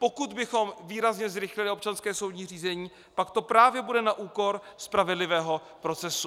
Pokud bychom výrazně zrychlili občanské soudní řízení, pak to právě bude na úkor spravedlivého procesu.